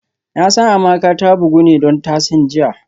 Nasan Amaka ta bugu ne don tasan jiya